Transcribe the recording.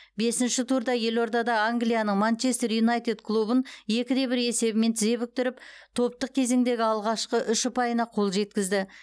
бесінші турда елордада англияның манчестер юнайтед клубын екі де бір есебімен тізе бүктіріп топтық кезеңдегі алғашқы үш ұпайына қол жеткізді